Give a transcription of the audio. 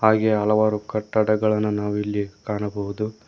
ಹಾಗೆ ಹಲವಾರು ಕಟ್ಟಡಗಳನ ನಾವಿಲ್ಲಿ ಕಾಣಬಹುದು.